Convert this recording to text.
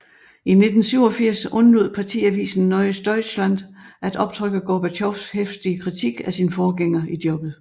I 1987 undlod partiavisen Neues Deutschland at optrykke Gorbatjovs heftige kritik af sin forgænger i jobbet